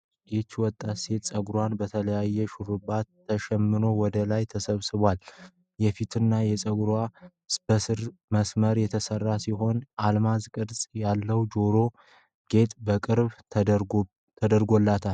ይህች ወጣት ሴት ፀጉሯ በተለያዩ ሹሩባዎች ተሸምኖ ወደ ላይ ተሰብስቧል። የፊትና የጎን ፀጉሯ በስስ መስመር የተስተካከለ ሲሆን፣ የአልማዝ ቅርጽ ያለው የጆሮ ጌጥ በቅርብ ተደርጎላታል።